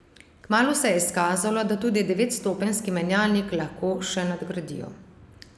Kmalu se je izkazalo, da tudi devetstopenjski menjalnik lahko še nadgradijo.